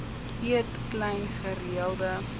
eet klein gereelde